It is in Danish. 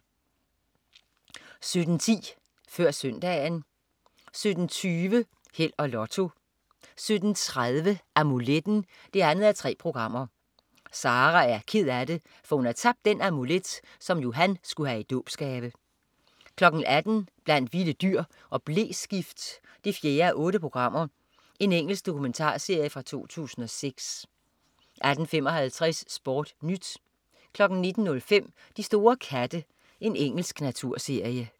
17.10 Før Søndagen 17.20 Held og Lotto 17.30 Amuletten 2:3. Sara er ked af det, for hun har tabt den amulet, som Johan skulle have i dåbsgave 18.00 Blandt vilde dyr og bleskift 4:8. Engelsk dokumentarserie fra 2006 18.55 SportNyt 19.05 De store katte. Engelsk naturserie